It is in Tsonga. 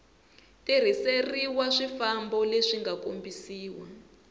tirhiseriwa swifambo leswi nga kombisiwa